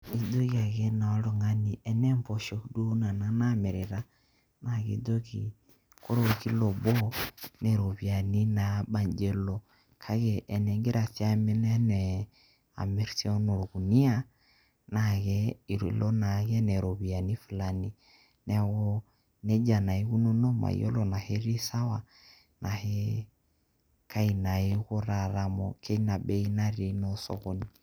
Ijoki ake naa oltung`ani tenaa mpoosho duo nena naamirita naa akijoki ore orkilo obo naa ropiyiani naabaji elo. Kake tening`ira amirr enaa amir enaa olkunia naa ke eilo naake enaa rropiyiani fulani. Niaku naa ikununo mayiolo tenaa ketii sawa kai naa iko taata amu teina bei natii naa osokoni.